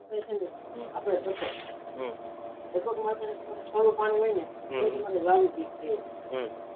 ફુવારા પદ્દતિ માં તમને થોડું પાણી હોય ને હમમમ